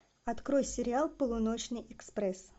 открой сериал полуночный экспресс